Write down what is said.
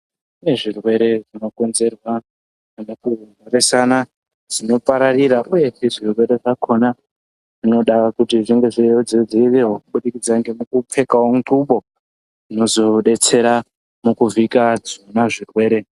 Kune zvirwere zvinokonzerwa nemukumhoresana zvinopararira uyezve zvirwere zvakhona zvinoda kuti zvinge zveizodziirirwa kubudikidza ngemukupfekawo ntlubo inozodetsera mukuvhika zvona zvirwere.